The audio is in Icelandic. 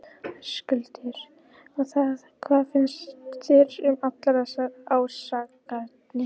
Höskuldur: Og hvað finnst þér um allar þessar ásakanir?